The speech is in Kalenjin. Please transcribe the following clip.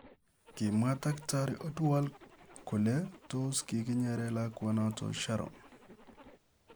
Kimwaa taktarii Oduor kolee toos kikinyeere lakwaanootok Sharon.